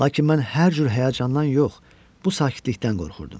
Lakin mən hər cür həyəcandan yox, bu sakitlikdən qorxurdum.